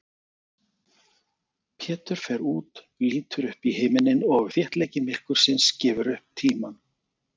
Pétur fer út, lítur upp í himininn og þéttleiki myrkursins gefur upp tímann.